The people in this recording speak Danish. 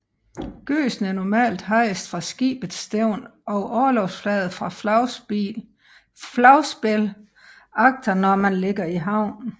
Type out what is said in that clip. Gøsen er normalt hejst fra skibets stævn og orlogsflaget fra flagspil agter når man ligger i havn